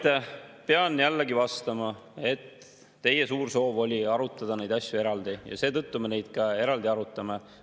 Ma pean jälle vastama, et teie suur soov oli arutada neid asju eraldi ja seetõttu me neid ka eraldi arutame.